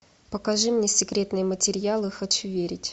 покажи мне секретные материалы хочу верить